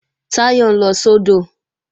Táyọ̀ ń lọ sódò